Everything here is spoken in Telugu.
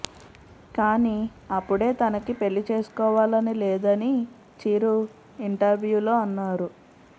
కానీ అపుడే తనకి పెళ్లి చేసుకోవాలని లేదని చిరు ఇంటర్వూ లో అన్నారు